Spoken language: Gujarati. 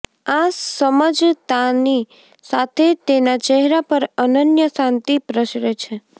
આ સમજતાંની સાથે તેના ચહેરા પર અનન્ય શાંતિ પ્રસરે છે